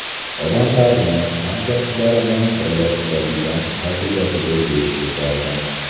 Odamlarni, hamkasblarini birlashtiradigan fazilatiga besh ketardim.